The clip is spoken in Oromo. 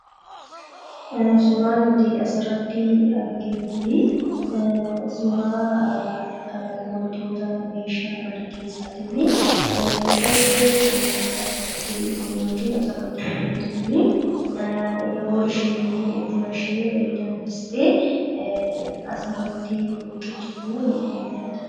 Suuraan nuti asirratti arginu kun, suuraa wantoota meeshaa mana keessaatii fi mucayyoon achitti yookiin asirratti mul'attu kuni yeroo isheen buna ishee danfistee asirratti qiccutu nutti mul'ata.